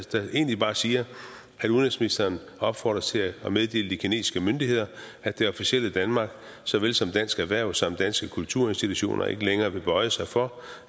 egentlig bare siger at udenrigsministeren opfordres til at meddele de kinesiske myndigheder at det officielle danmark så vel som dansk erhverv samt danske kulturinstitutioner ikke længere vil bøje sig for